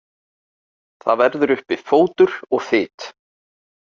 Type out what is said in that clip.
Það verður uppi fótur og fit.